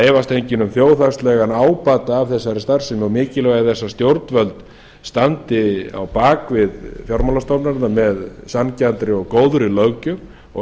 efast enginn um þjóðhagslegan ábata af þessari starfsemi og mikilvægi þess að stjórnvöld standi á bak við fjármálastofnanirnar með sanngjarnri og góðri löggjöf og